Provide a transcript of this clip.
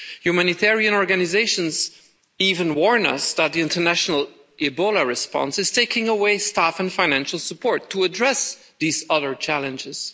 Humanitarian organisations even warn us that the international Ebola response is taking away staff and financial support to address these other challenges.